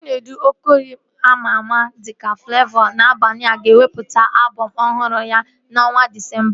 Chinedu Okoli ama ama dịka Flavọ N'abania, ga-ewepụta album ọhụrụ ya na ọnwa Disemba